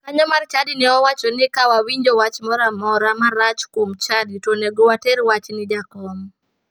Jakanyo mar chadi ne owacho ni ka wawinjo wach moro marach kuom chadi to onego water wach ni jakom.